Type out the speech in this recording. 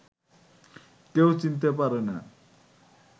কেউ চিনতে পারে না